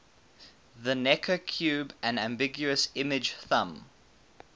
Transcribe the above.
the necker cube an ambiguous image thumb